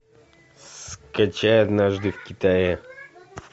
скачай однажды в китае